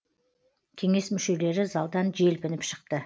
кеңес мүшелері залдан желпініп шықты